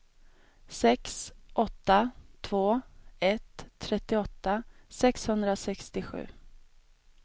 sex åtta två ett trettioåtta sexhundrasextiosju